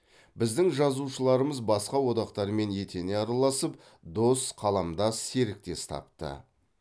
біздің жазушыларымыз басқа одақтармен етене араласып дос қаламдас серіктес тапты